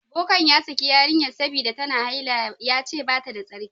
Bokan ya saki yarinyan sabida ta na haila. Ya ce bata da tsarki.